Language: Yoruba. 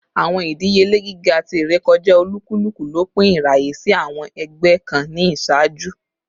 Awọn idiyele giga ti irekọja olukuluku lopin iraye si awọn ẹgbẹ kan ni iṣaaju